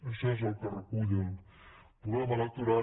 això és el que recull el programa electoral